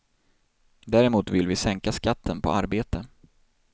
Däremot vill vi sänka skatten på arbete.